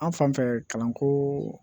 An fan fɛ kalanko